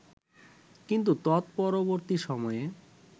কিন্তু তৎপরবর্তী সময়ে